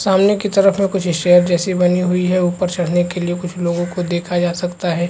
सामने के तरफ में कुछ स्टेयर जैसी बनी हुई है ऊपर चढ़ने के लिए कुछ लोगो को देखा जा सकता है।